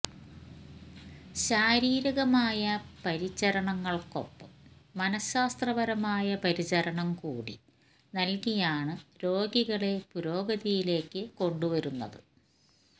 ശാരീരികമായ പരിചരണങ്ങള്ക്കൊപ്പം മനശ്ശാസ്ത്രപരമായ പരിചരണം കൂടി നല്കിയാണ് രോഗികളെ പുരോഗതിയിലേക്കു കൊണ്ടുവരുന്നത്